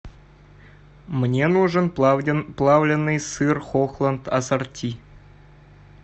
мне нужен плавленный сыр хохланд ассорти